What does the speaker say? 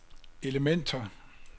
elementer